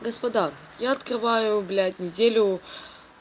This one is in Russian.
господа я открываю блять неделю